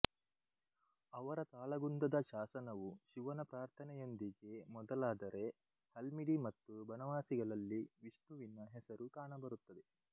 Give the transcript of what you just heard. ಅವರ ತಾಳಗುಂದದ ಶಾಸನವು ಶಿವನ ಪ್ರಾರ್ಥನೆಯೊಂದಿಗೆ ಮೊದಲಾದರೆ ಹಲ್ಮಿಡಿ ಮತ್ತು ಬನವಾಸಿಗಳಲ್ಲಿ ವಿಷ್ಣುವಿನ ಹೆಸರು ಕಾಣಬರುತ್ತದೆ